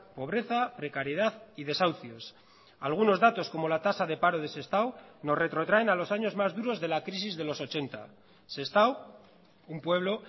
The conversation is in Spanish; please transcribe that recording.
pobreza precariedad y desahucios algunos datos como la tasa de paro de sestao nos retrotraen a los años más duros de la crisis de los ochenta sestao un pueblo